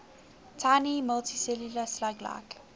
tiny multicellular slug like